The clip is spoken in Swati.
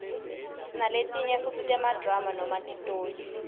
sinaletinye futsi temadrama noma titoli